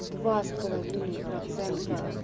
два с половиной процента